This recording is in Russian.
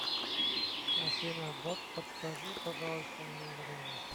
афина бот подскажи пожалуйста мне время